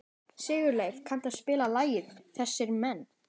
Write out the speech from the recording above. Sigurleif, kanntu að spila lagið „Þessir Menn“?